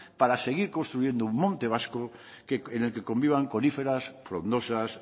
para seguir construyendo un monte vasco en el que convivan coníferas frondosas